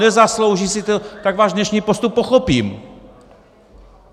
Nezaslouží si to! - tak váš dnešní postup pochopím.